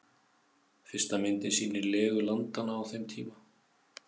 Fyrsta myndin sýnir legu landanna á þeim tíma.